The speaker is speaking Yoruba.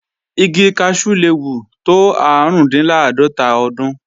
Igi kaṣú le wù tó árùndinláàdọ́tà ọdún